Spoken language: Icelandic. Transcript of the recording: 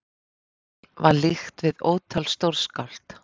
Frímanni var líkt við ótal stórskáld.